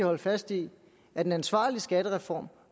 holde fast i at en ansvarlig skattereform